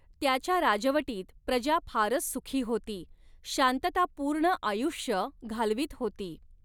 त्याच्या राजवटीत प्रजा फारच सुखी होती, शांततापूर्ण आयुष्य घालवीत होती.